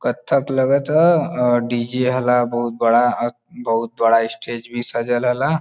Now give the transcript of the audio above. कत्थक लगत ह और डीजे हला बहोत बड़ा बहोत बड़ा स्टेज भी सजल हला।